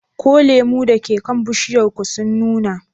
Ko lemu da ke kan bishiyar ku sun nuna?